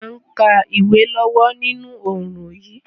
A n ka ìwé lọ́wọ́ ninú oorùn yi